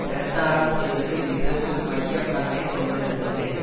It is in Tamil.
பிரச்சாரம் செய்வதில் இதுவும் மைய பங்கை கொண்டிருந்தது